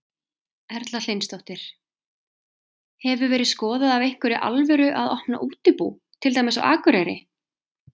Erla Hlynsdóttir: Hefur verið skoðað af einhverri alvöru að opna útibú, til dæmis á Akureyri?